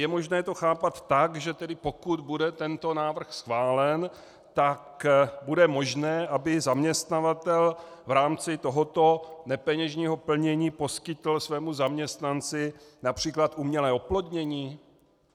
Je možné to chápat tak, že pokud bude tento návrh schválen, tak bude možné, aby zaměstnavatel v rámci tohoto nepeněžního plnění poskytl svému zaměstnanci například umělé oplodnění?